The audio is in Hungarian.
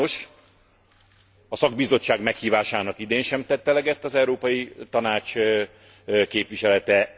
Sajnos a szakbizottság meghívásának idén sem tett eleget az Európai Tanács képviselete.